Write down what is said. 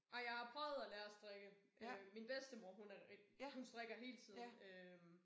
Ej jeg har prøvet at lære at strikke øh min bedstemor hun er hun strikker hele tiden øh